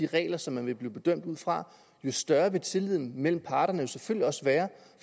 regler som man vil bedømme ud fra jo større vil tilliden mellem parterne selvfølgelig også være